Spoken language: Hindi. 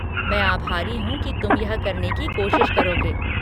मैं आभारी हूँ कि तुम यह करने की कोशिश करोगे।